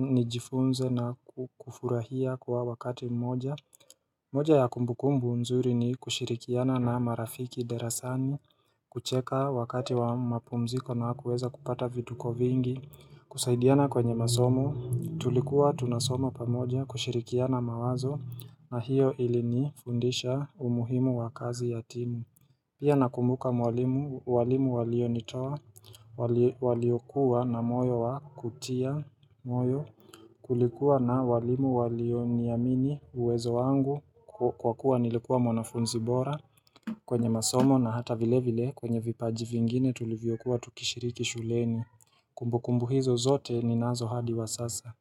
nijifunze na kufurahia kwa wakati mmoja moja ya kumbukumbu nzuri ni kushirikiana na marafiki derasani, kucheka wakati wa mapumziko na kuweza kupata vituko vingi, kusaidiana kwenye masomo, tulikuwa tunasoma pamoja kushirikiana mawazo na hiyo ilinifundisha umuhimu wa kazi ya timu Pia nakumbuka mwalimu walimu walionitwa waliokuwa na moyo wa kutia moyo kulikuwa na walimu walioniamini uwezo wangu kwa kuwa nilikuwa mwanafunzi bora kwenye masomo na hata vile vile kwenye vipaji vingine tulivyokuwa tukishiriki shuleni kumbukumbu hizo zote ninazo hadi wa sasa.